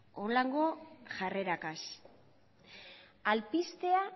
honelako jarreragaz alpistea